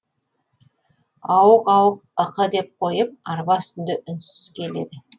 ауық ауық ықы деп қойып арба үстінде үнсіз келеді